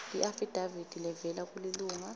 iafidavithi levela kulilunga